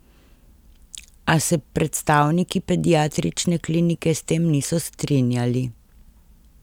A se predstavniki pediatrične klinike s tem niso strinjali.